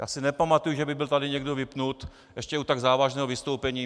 Já si nepamatuji, že by byl tady někdo vypnut, ještě u tak závažného vystoupení.